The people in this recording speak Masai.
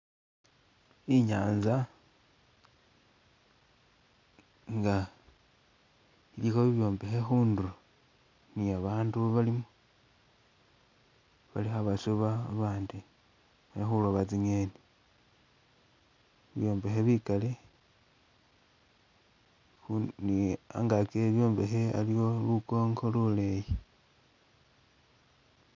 Inyanza nga ilikho bibyombekhe khundulo ne babandu balimo bali khabasuuba abandi bali khusuba tsi'ngeni ibyombekhe bikaali ni angaki we bibyombekhe aliwo lukongo lulelyi.